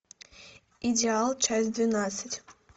идеал часть двенадцать